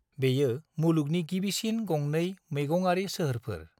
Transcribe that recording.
बेयो मुलुगनि गिबिसिन गंनै मैगंआरि सोहोरफोर।